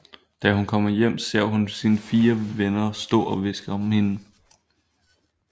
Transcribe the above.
Da hun kommer hjem ser hun sine fire venner stå og hviske om hende